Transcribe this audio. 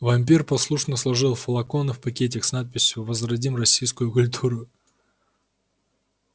вампир послушно сложил флаконы в пакетик с надписью возродим российскую культуру